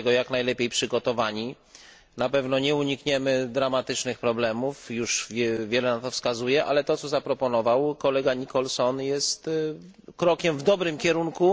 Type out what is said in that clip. Na pewno nie unikniemy dramatycznych problemów już wiele na to wskazuje, ale to, co zaproponował kolega Nicholson, jest krokiem w dobrym kierunku.